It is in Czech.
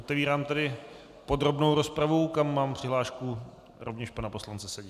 Otevírám tedy podrobnou rozpravu, kam mám přihlášku rovněž pana poslance Sedi.